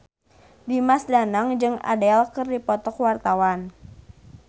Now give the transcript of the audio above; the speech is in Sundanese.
Dimas Danang jeung Adele keur dipoto ku wartawan